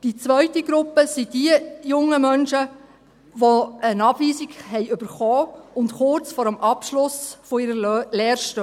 Die zweite Gruppe sind diejenigen jungen Menschen, welche eine Abweisung erhalten haben und kurz vor dem Abschluss ihrer Lehre stehen.